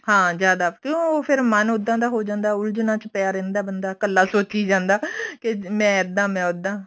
ਹਾਂ ਜਿਆਦਾ ਕਿਉਂ ਫੇਰ ਮਨ ਉੱਦਾਂ ਦਾ ਹੋ ਜਾਂਦਾ ਉਲਝਨਾ ਚ ਪਿਆ ਰਹਿੰਦਾ ਬੰਦਾ ਕੱਲਾ ਸੋਚੀ ਜਾਂਦਾ ਕੇ ਮੈਂ ਇੱਦਾਂ ਮੈਂ ਉੱਦਾਂ